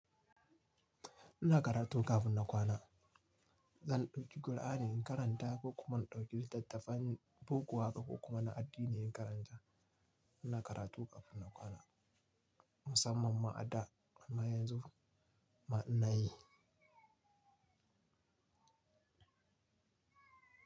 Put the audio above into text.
Ina karatu ƙafun na kwana. Zan ɗauki Alqur'ani in karanta ko kuma na ɗauki littattafan boko ko kuma na addini in karanta. Ina karatu ƙafun na kwana musamman ma a da amma ba yanzu ba ma ina yi.